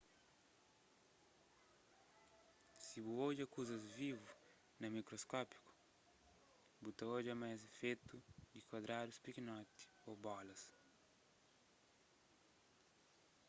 si bu odja kuzas vivu na mikroskopiu bu ta odja ma es é fetu di kuadradus pikinoti ô bolas